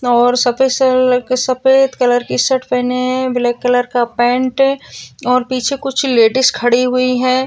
और सफेद- कलर के सफेद कलर के शर्ट पहने है ब्लॅक कलर का पैंट है और पीछे कुछ लेडिज खड़ी हुई है।